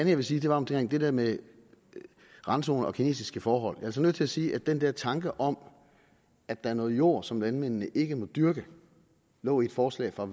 jeg vil sige er omkring det med randzoner og kinesiske forhold jeg altså nødt til at sige at den der tanke om at der er noget jord som landmændene ikke må dyrke lå i et forslag fra